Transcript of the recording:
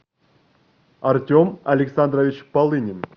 артем александрович полынин